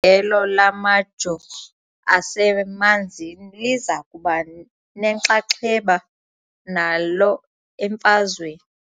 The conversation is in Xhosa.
ndelo lamajoo asemanzini liza kuba nenxaxheba nalo emfazweni .